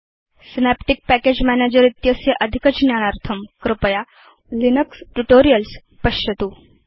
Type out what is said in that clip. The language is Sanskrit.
सिनेप्टिक् पैकेज मैनेजर इत्यस्य अधिकज्ञानार्थम् कृपया लिनक्स ट्यूटोरियल्स् पश्यतु